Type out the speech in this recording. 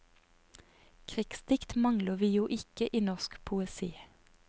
Krigsdikt mangler vi jo ikke i norsk poesi.